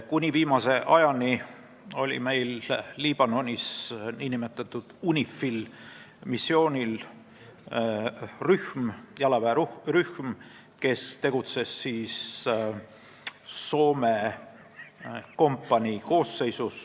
Kuni viimase ajani oli meil UNIFIL-i missioonil Liibanonis jalaväerühm, kes tegutses Soome kompanii koosseisus.